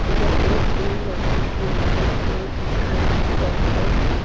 लेकिन एक दिन मंजिल की मारत हे जिसका नाम गोरवेंट--